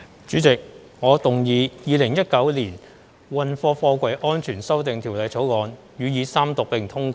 主席，我動議《2019年運貨貨櫃條例草案》予以三讀並通過。